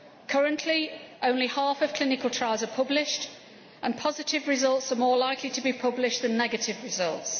Currently only half of clinical trials are published and positive results are more likely to be published than negative results.